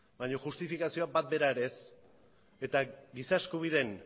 baina justifikazio bat bera ere ez eta giza eskubideen